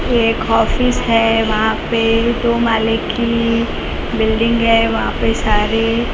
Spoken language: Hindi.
ये एक ऑफिस है वहां पे दो माले की बिल्डिंग है वहां पे सारे--